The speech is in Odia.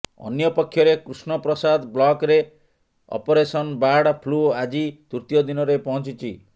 ଅନ୍ୟପକ୍ଷରେ କୃଷ୍ଣପ୍ରସାଦ ବ୍ଲକ୍ରେ ଅପରେସନ୍ ବାର୍ଡ ଫ୍ଲୁ ଆଜି ତୃତୀୟ ଦିନରେ ପହଞ୍ଚିଛି